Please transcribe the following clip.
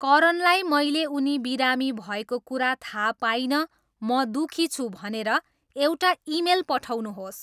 करनलाई मैले उनी बिरामी भएको कुरा थाहा पाइनँ म दुखी छु भनेर एउटा इमेल पठाउनुहोस्